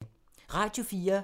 Radio 4